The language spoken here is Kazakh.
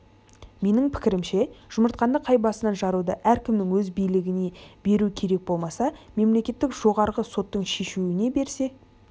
менің пікірімше жұмыртқаны қай басынан жаруды әркімнің өз билігіне беру керек болмаса мемлекеттік жоғарғы соттың шешуіне берсе